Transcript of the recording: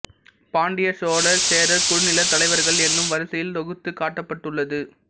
பாண்டியர் சோழர் சேரர் குறுநிலத் தலைவர்கள் என்னும் வரிசையில் தொகுத்துக் காட்டப்பட்டுள்ளது